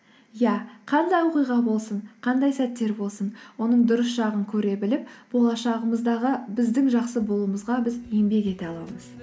иә қандай оқиға болсын қандай сәттер болсын оның дұрыс жағын көре біліп болашағымыздағы біздің жақсы болуымызға біз еңбек ете аламыз